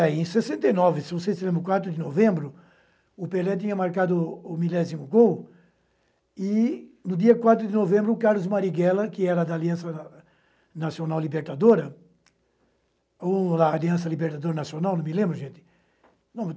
Eh, em sessenta e nove, se não sei se é no quatro de novembro, o Pelé tinha marcado o milésimo gol e, no dia quatro de novembro, o Carlos Marighella, que era da Aliança Nacional Libertadora, ou da Aliança Libertadora Nacional, não me lembro, gente.